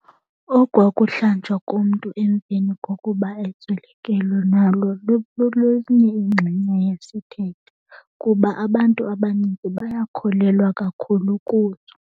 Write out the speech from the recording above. Okwakuhlanjwa komntu emveni kokuba eswelekelwe nalo lolunye ingxenye yesithethe kuba abantu abanintsi bayakholelwa kakhulu kuzo.